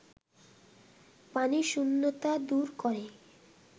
পানিশূন্যতা দূর করে